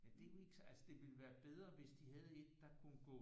Men det er jo ikke så altså det ville være bedre hvis de havde et der kunne gå